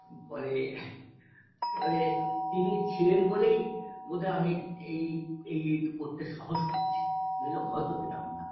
আর তাছাড়া বাইরে তো আপনার theatre -এর জন্য rehearsal -এ যেতে হয় Show করতে যেতে হয় এই যে এতটা সময় আপনি বাইরে থাকেন আপনার স্ত্রী আপনার